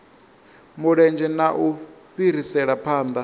mulenzhe na u fhirisela phanḓa